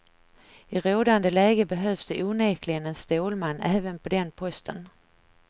I rådande läge behövs det onekligen en stålman även på den posten.